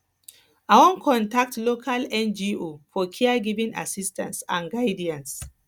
i wan contact local ngo for caregiving assistance and guidance